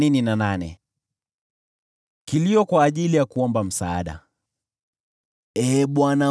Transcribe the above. Ee Bwana , Mungu uniokoaye, nimelia mbele zako usiku na mchana.